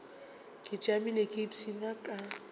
ke tšamile ke ipshina ka